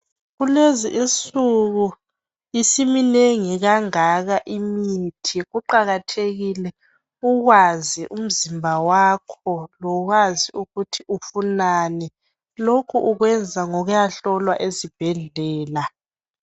Kulezi insuku isiminengi kangaka imithi kuqakathekile ukwazi umzimba wakho lokwazi ukuthi ufunani lokhu ukwenza ngokuyahlolwa esibhedlela.